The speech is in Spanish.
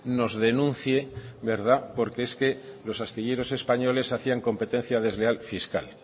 nos denuncie verdad porque es que los astilleros españoles hacían competencia desleal fiscal